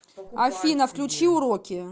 афина включи уроки